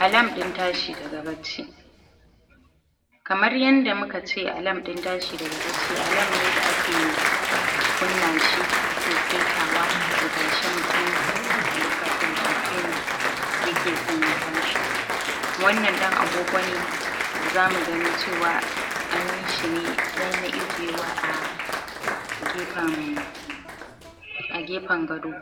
Alarm in tashi daga baci kamar yanda muka ce alarm in tashi daga baci, alarm ne da ake kunna shi ake saitawa ya tashi mutum a lokacin da mutum ya ke son ya tashi wannan dan agogo ne da zamu gani cewa an yi shi ne dan na ijewa a gefan a gefan gado